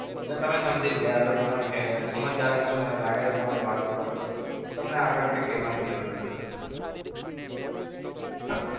એટલે તમે સમજી જ ગયા હશો. તમે સમજદાર જ છો મને લાગે છે. તમારી વાત ઉપરથી તમને આગળ કઈ કેવાની જરૂર નથી.